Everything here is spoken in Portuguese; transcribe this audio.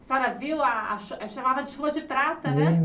A senhora viu a a... cha chamava de chuva de prata, né?